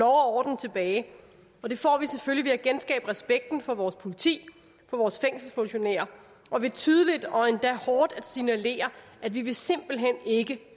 orden tilbage og det får vi selvfølgelig ved at genskabe respekten for vores politi for vores fængselsfunktionærer og ved tydeligt og endda hårdt at signalere at vi simpelt hen ikke